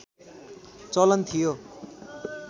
चलन थियो